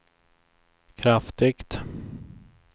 kraftigt